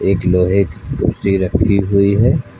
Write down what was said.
एक लोहे खुर्सी रखी हुई है।